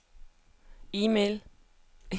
e-mail